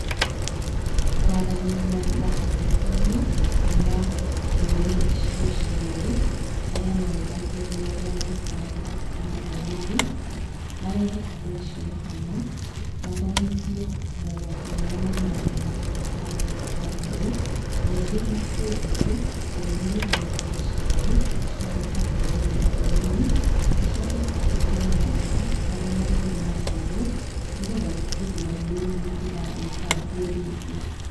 Kwaranĩria na atongoria kuma ndũrĩrĩ icio cierĩ, arĩa marũgamĩrĩire arĩa maikaraga hakuhĩ na rũĩ rou, marehe andũ acio hamwe, matomithio mogwati marĩa maumanaga na gũthũkangia kwa rũĩ, ningĩ matue thikũ, o rũrĩrĩ thikũ ciaruo, cia gũka gũthereria rũĩ rou, gũcoke kwandĩkwo mawatho, marĩa marĩrũmagĩrĩrwo, nĩgetha gũtigĩrĩra rũĩ rũu rũtigathũkangio rĩngĩ.